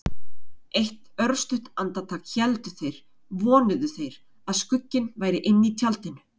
Eitt örstutt andartak héldu þeir- vonuðu þeir- að skugginn væri inni í tjaldinu.